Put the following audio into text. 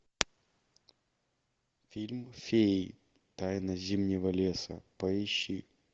фильм феи тайна зимнего леса поищи